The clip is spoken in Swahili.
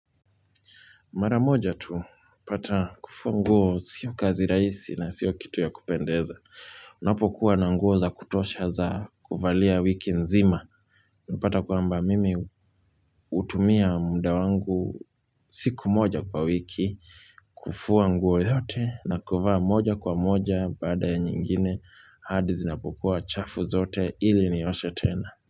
Mara moja tu pata kufuwa nguo sio kazi raisi na sio kitu ya kupendeza. Napokuwa na nguo za kutosha za kuvalia wiki nzima. Napata kwamba mimi hutumia muda wangu kufua nguo yote na kuvaa moja kwa moja baada ya nyingine hadi zinapokuwa chafu zote ili nioshe tena.